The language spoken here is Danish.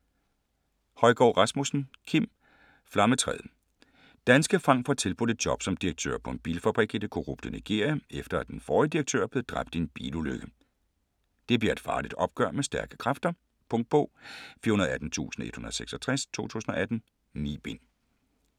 Højgaard Rasmussen, Kim: Flammetræet Danske Frank får tilbudt et job som direktør på en bilfabrik i det korrupte Nigeria, efter at den forrige direktør er blevet dræbt i en bilulykke. Det bliver et farligt opgør med stærke kræfter. Punktbog 418166 2018. 9 bind.